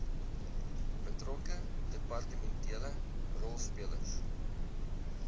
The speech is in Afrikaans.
betrokke departementele rolspelers